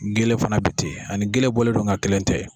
Gele fana bi ten ani gele bɔlen don nga kelen tɛ.